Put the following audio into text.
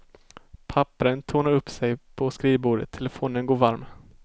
Pappren tornar upp sig på skrivbordet, telefonen går varm.